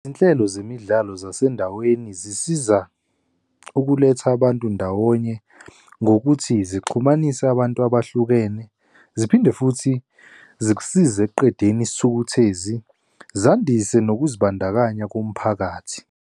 Izinhlelo zemidlalo zasendaweni zisiza ukuletha abantu ndawonye ngokuthi zixhumanisa abantu abahlukene, ziphinde futhi zikusize ekuqedeni isithukuthezi, zandise nokuzibandakanya komphakathi.